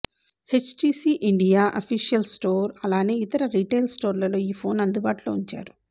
HTC India official store అలానే ఇతర retail స్టోర్లలో ఈ ఫోన్ను అందుబాటులో ఉంచారు